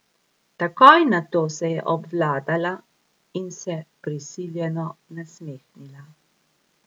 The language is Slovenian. Takoj nato se je obvladala in se prisiljeno nasmehnila.